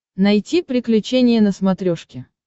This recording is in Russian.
найти приключения на смотрешке